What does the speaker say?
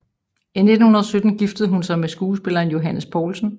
I 1917 giftede hun sig med skuespilleren Johannes Poulsen